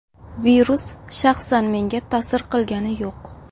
Virus shaxsan menga ta’sir qilgani yo‘q.